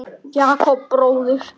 Jakob bróðir.